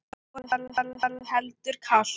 Vorið var heldur kalt.